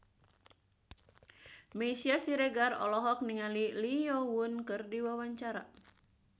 Meisya Siregar olohok ningali Lee Yo Won keur diwawancara